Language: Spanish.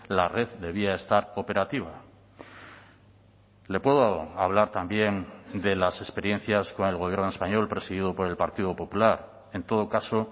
la red debía estar operativa le puedo hablar también de las experiencias con el gobierno español presidido por el partido popular en todo caso